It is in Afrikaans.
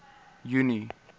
junie